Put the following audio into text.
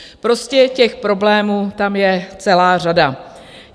Prostě těch problémů tam je celá řada.